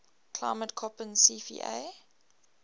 climate koppen cfa